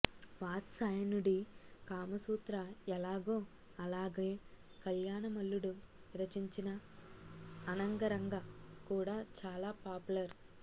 వాత్స్యాయనుడి కామసూత్ర ఎలాగో అలాగే కళ్యాణ మల్లుడు రచించిన అనంగరంగ కూడా చాలా పాప్ లర్